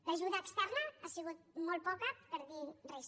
l’ajuda externa ha sigut molt poca per no dir res